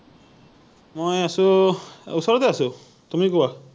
মই আছো, ওচৰতে আছো৷ তুমি কোৱা?